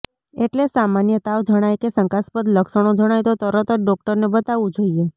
એટલે સામાન્ય તાવ જણાય કે શંકાસ્પદ લક્ષણો જણાય તો તરત જ ડોક્ટરને બતાવવું જોઈએ